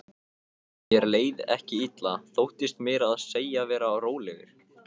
Mér leið ekki illa, þóttist meira að segja vera rólegur.